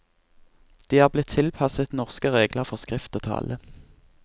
De er blitt tilpasset norske regler for skrift og tale.